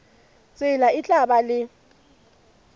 tsela e tla ba le